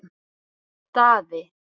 Daði